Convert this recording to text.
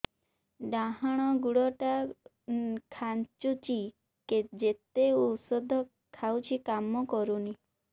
ଡାହାଣ ଗୁଡ଼ ଟା ଖାନ୍ଚୁଚି ଯେତେ ଉଷ୍ଧ ଖାଉଛି କାମ କରୁନି